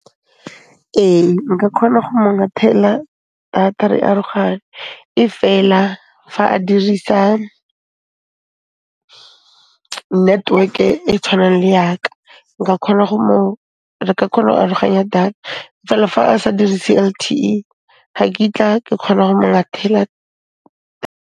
Ee, nka kgona go mo ngathela data, re aroganye efela fa a dirisa network-e tshwanang le ya ka, re ka kgona'o aroganya data efela fa a sa dirise L_T_E, ga kitla ke kgona go ngathela.